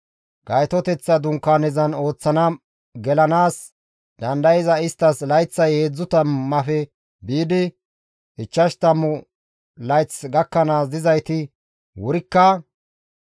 Gaytoteththa Dunkaanezan ooththana gelanaas dandayzaytas layththay heedzdzu tammaafe biidi ichchashu tammu layth gakkanaas dizayti wurikka,